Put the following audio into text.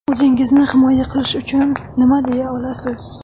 O‘zingizni himoya qilish uchun nima deya olasiz?